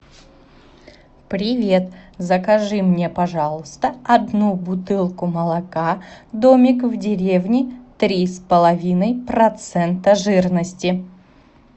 привет закажи мне пожалуйста одну бутылку молока домик в деревне три с половиной процента жирности